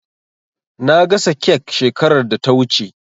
Na gasa kek shekarar da ta wuce.